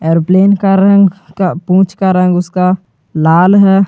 Aeroplane का रंग पूछ का रंग उसका लाल है।